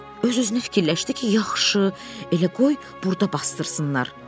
Öz-özünə fikirləşdi ki, yaxşı, elə qoy burda basdırsınlar.